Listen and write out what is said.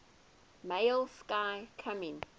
male sky coming